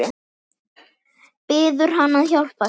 Biður hann að hjálpa sér.